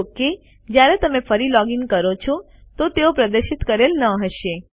જો કે જયારે તમે ફરીથી લૉગ ઇન કરો છો તો તેઓ પ્રદર્શિત કરેલ ન હશે